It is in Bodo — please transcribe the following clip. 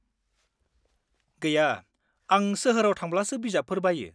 गैया, आं सोहोराव थांब्लासो बिजाबफोर बायो।